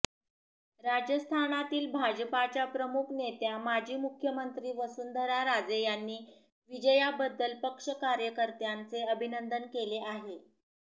राजस्थानातील भाजपाच्या प्रमुख नेत्या माजी मुख्यमंत्री वसुंधरा राजे यांनी विजयाबद्दल पक्ष कार्यकर्त्यांचे अभिनंदन केले आहे